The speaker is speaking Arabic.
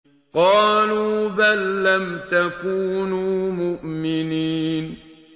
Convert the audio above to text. قَالُوا بَل لَّمْ تَكُونُوا مُؤْمِنِينَ